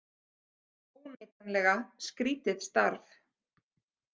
Óneitanlega skrítið starf.